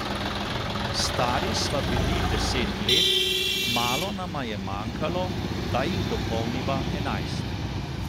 Stari sva bili deset let, malo nama je manjkalo, da jih dopolniva enajst.